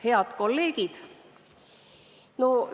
Head kolleegid!